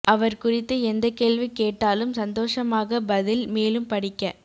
அவர் குறித்து எந்த கேள்வி கேட்டாலும் சந்தோஷமாக பதில் மேலும் படிக்க